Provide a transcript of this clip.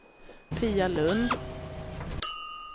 Pia Lund